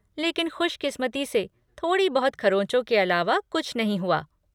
लेकिन खुशकिस्मती से थोड़ी बहुत खरोंचो के अलावा कुछ नहीं हुआ।